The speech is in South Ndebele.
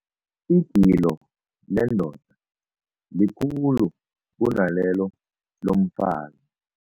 Igilo lendoda likhulu kunalelo lomfazi.